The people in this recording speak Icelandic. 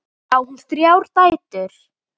Á hún þrjár dætur.